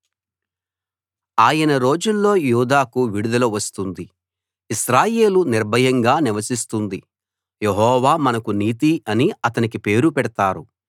ఆయన రోజుల్లో యూదాకు విడుదల వస్తుంది ఇశ్రాయేలు నిర్భయంగా నివసిస్తుంది యెహోవా మనకు నీతి అని అతనికి పేరు పెడతారు